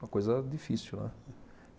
Uma coisa difícil, né?